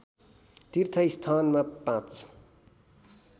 तीर्थस्थानमा पाँच